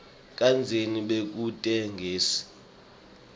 kadzeni bekute gesi